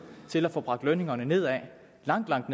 til at få bragt lønningerne ned langt langt